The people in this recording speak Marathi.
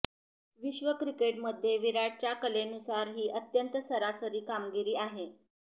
विश्व क्रिकेटमध्ये विराटच्या कलेनुसार ही अत्यंत सरासरी कामगिरी आहे